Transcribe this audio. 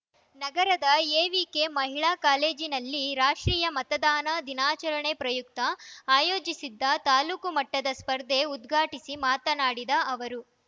ನಗರದ ಎವಿಕೆ ಮಹಿಳಾ ಕಾಲೇಜಿನಲ್ಲಿ ರಾಷ್ಟ್ರೀಯ ಮತದಾನ ದಿನಾಚರಣೆ ಪ್ರಯುಕ್ತ ಆಯೋಜಿಸಿದ್ದ ತಾಲೂಕು ಮಟ್ಟದ ಸ್ಪರ್ಧೆ ಉದ್ಘಾಟಿಸಿ ಮಾತನಾಡಿದ ಅವರು